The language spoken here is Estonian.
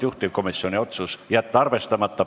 Juhtivkomisjoni otsus: jätta arvestamata.